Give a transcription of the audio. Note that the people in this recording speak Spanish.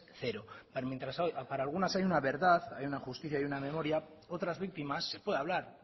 cero mientras para algunas hay una verdad hay una justicia y una memoria otras victimas se puede hablar